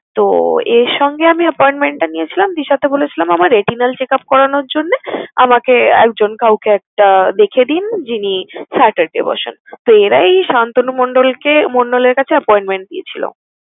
তো এর সঙ্গে আমি appointment টা নিয়েছিলাম বিষয়টা বলেছিলাম আমার retinal checkup করানোর জন্যে আমাকে একজন কাউকে একটা দেখিয়ে দিন যিনি saturday বসেন। তো এরাই সান্তানু মণ্ডলকে~ মণ্ডলের কাছে appointment দিয়েছিলো।